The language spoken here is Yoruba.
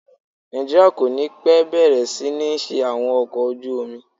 Nàìjíríà kò ní pẹ́ bẹ̀rẹ̀ sí ní ṣe àwọn ọkọ̀ ojú omi.